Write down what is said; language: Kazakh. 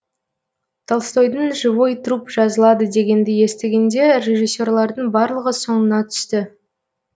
толстойдың живой труп жазылады дегенді естігенде режиссерлардың барлығы соңына түсті